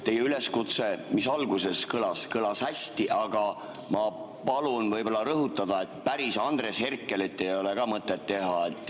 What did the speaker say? Teie üleskutse, mis alguses kõlas, kõlas hästi, aga ma palun võib-olla rõhutada, et päris Andres Herkelit ei ole ka mõtet teha.